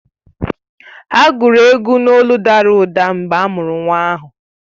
Ha gụrụ egwu n’olụ dara ụda mgbe a mụrụ nwa ahụ